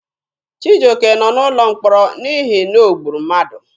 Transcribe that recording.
Chijioke nọ n'ụlọ mkpọrọ n'ihi na o gburu mmadụ.